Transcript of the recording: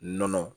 Nɔnɔ